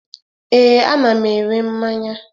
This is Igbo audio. Ee, ana m ere mmanya.